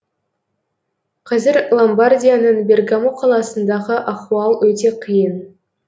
қазір ломбардияның бергамо қаласындағы ахуал өте қиын